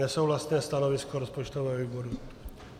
Nesouhlasné stanovisko rozpočtového výboru.